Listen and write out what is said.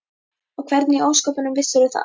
Og hvernig í ósköpunum vissirðu það?